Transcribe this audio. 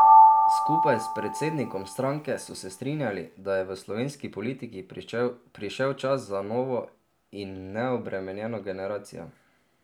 Skupaj s predsednikom stranke so se strinjali, da je v slovenski politiki prišel čas za novo in neobremenjeno generacijo.